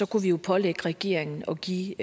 kunne vi jo pålægge regeringen at give